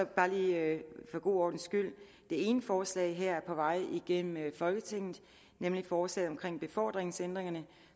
bare lige for god ordens skyld det ene forslag her er på vej igennem folketinget nemlig forslaget om befordringsændringerne